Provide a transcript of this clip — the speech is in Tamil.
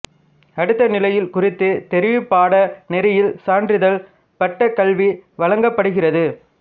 அடுத்த நிலையில் குறித்த தெரிவுப் பாட நெறியில் சான்றிதழ்ப் பட்டக் கல்வி வழங்கப்படுகிறது